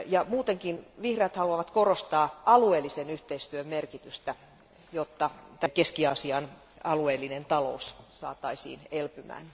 Muutenkin vihreät haluavat korostaa alueellisen yhteistyön merkitystä, jotta Keski Aasian alueellinen talous saataisiin elpymään.